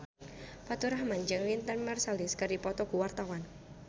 Faturrahman jeung Wynton Marsalis keur dipoto ku wartawan